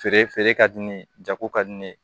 Feere feere ka di ne ye jago ka di ne ye